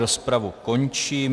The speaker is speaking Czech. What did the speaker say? Rozpravu končím.